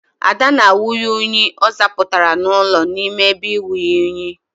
Ada na anwụnye unyi ọ zapụtara n'ụlọ n'ime ebe inwunye unyi.